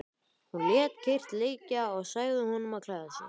Hún lét kyrrt liggja og sagði honum að klæða sig.